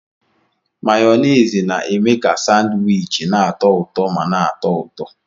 Mayonezi na-eme ka Sanwichi na-atọ ụtọ ma na-atọ ụtọ